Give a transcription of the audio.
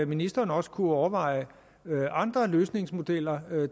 ministeren også kunne overveje andre løsningsmodeller